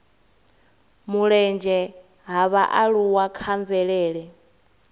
mulenzhe ha vhaaluwa kha mvelele